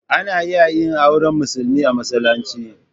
Ana iya yin auren musulmi a masallaci.